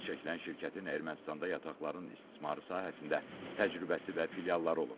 Adı çəkilən şirkətin Ermənistanda yataqların istismarı sahəsində təcrübəsi və filialları olub.